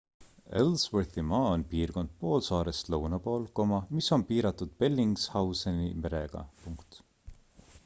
ellsworthi maa on piirkond poolsaarest lõunapool mis on piiratud bellingshauseni merega